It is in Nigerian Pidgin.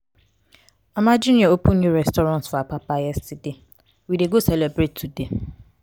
mama junior open new restaurant for apapa yesterday we dey go celebrate today.